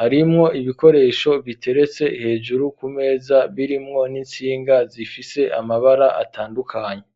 harimwo ibikoresho biteretse hejuru ku meza birimwo n'insinga zifise amabara atandukanye.